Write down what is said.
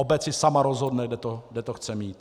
Obec si sama rozhodne, kde to chce mít.